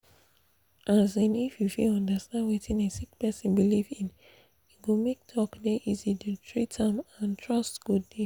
um if you fit understand wetin a sick person believe in e go make talk dey easy to treat am and trust go dey